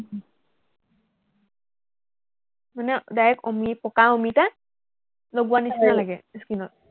মানে direct অমি, পকা অমিতা লগোৱা নিচিনা লাগে skin ত